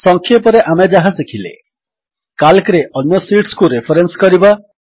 ସଂକ୍ଷେପରେ ଆମେ ଯାହା ଶିଖିଲେ କାଲ୍କରେ ଅନ୍ୟ ଶିଟ୍ସକୁ ରେଫରେନ୍ସ କରିବା